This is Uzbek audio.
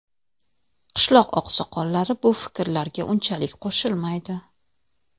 qishloq oqsoqollari bu fikrlarga unchalik qo‘shilmaydi.